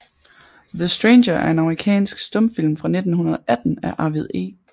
The Stranger er en amerikansk stumfilm fra 1918 af Arvid E